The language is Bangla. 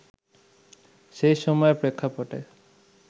সেই সময়ের প্রেক্ষাপটে